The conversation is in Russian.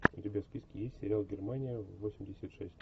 у тебя в списке есть сериал германия восемьдесят шесть